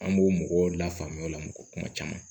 An b'o mɔgɔw lafaamuya o la mɔgɔ kuma caman